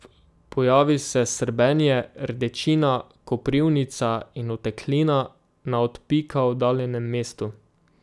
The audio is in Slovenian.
Pojavi se srbenje, rdečina, koprivnica in oteklina na od pika oddaljenem mestu.